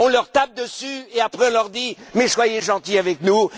On leur tape dessus et après on leur dit soyez gentils avec nous.